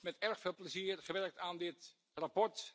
Ik heb met erg veel plezier aan dit verslag gewerkt.